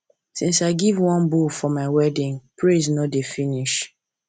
since i give one bull for my wedding praise no dey finish